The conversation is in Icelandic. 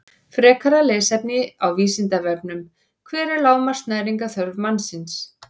Frekara lesefni á Vísindavefnum: Hver er lágmarks næringarþörf mannsins?